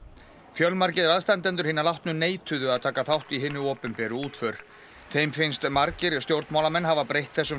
fjölmargir aðstandendur hinna látnu neituðu að taka þátt í hinni opinberu útför þeim finnst margir stjórnmálamenn hafa breytt þessum